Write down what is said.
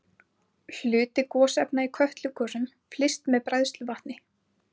Hluti gosefna í Kötlugosum flyst með bræðsluvatni.